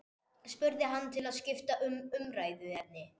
spurði hann til að skipta um umræðuefni.